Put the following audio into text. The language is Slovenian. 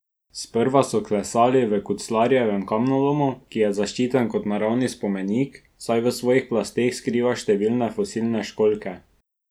Sprva so klesali v Kuclarjevem kamnolomu, ki je zaščiten kot naravni spomenik, saj v svojih plasteh skriva številne fosilne školjke.